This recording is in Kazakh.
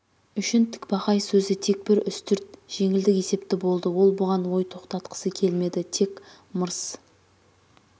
үшін тікбақай сөзі тек бір үстірт жеңілдік есепті болды ол бұған ой тоқтатқысы келмеді тек мырс